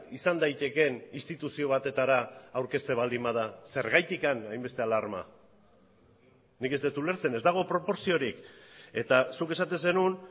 izan daitekeen instituzio batetara aurkezten baldin bada zergatik hainbeste alarma nik ez dut ulertzen ez dago proportziorik eta zuk esaten zenuen